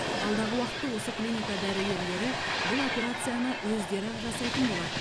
алдағы уақытта осы клиника дәрігерлері бұл операцияны өздері ақ жасайтын болады